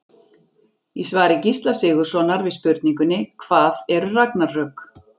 Í svari Gísla Sigurðssonar við spurningunni Hvað eru ragnarök?